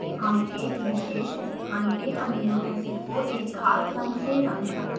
हम एक विशेष स्थान के amino acid को एक खास रंग से रंग सकते हैं